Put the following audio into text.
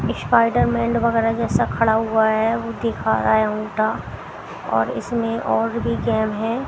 Spiderman वगैरह जैसा खड़ा हुआ है वो दिखा रहा है उल्टा और इसमें और भी गेम है।